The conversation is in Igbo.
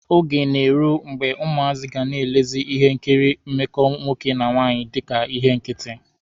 Oge ga-eru mgbe ụmụazị ga na-elezi ihe nkiri mmekọ nwoke na nwaanyị dika ihe nkịtị.